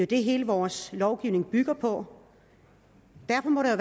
det hele vores lovgivning bygger på derfor må der